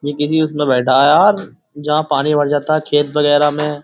ये किसी उसमे बैठा है यार जहां पानी भर जाता है खेत वगैरह में।